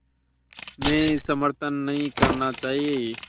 में समर्थन नहीं करना चाहिए